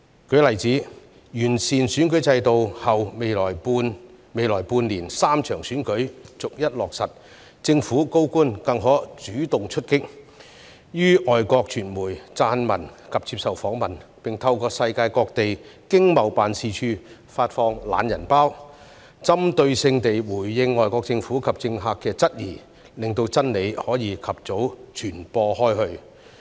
舉例而言，在完善選舉制度後，未來半年將會有3場選舉逐一舉行，政府高官更可主動出擊，於外國傳媒撰文及接受訪問，並透過世界各地經濟貿易辦事處發放"懶人包"，針對性回應外國政府及政客的質疑，令真理可以及早傳播開去。